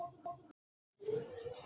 Ekki nema hvað?